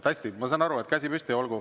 Hästi, ma saan aru, et käsi on püsti.